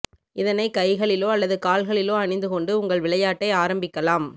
இதனை கைகளிலோ அல்லது கால்களிலோ அணிந்து கொண்டு உங்கள் விளையாட்டை ஆரம்பிக்கலாம்